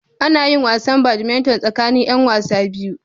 Ana yin wasan Badminton tsakanin 'yan wasa biyu.